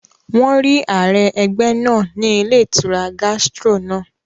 Wọ́n rí ààrẹ ẹgbẹ́ náà ní ilé ìtura Gastro náà